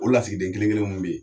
O lasigiden kelen kelen mun be yen